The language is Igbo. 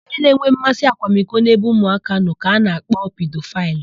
Onye na-enwe mmasị akwamiko n'ebe ụmụaka nọ ka a na-akpọ pidofaịlụ.